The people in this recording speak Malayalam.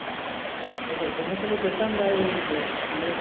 ഓഹോ സുമേഷ് അപ്പൊ കെട്ടാൻ പ്രായമായിരിക്കയാണ് സുമേഷ്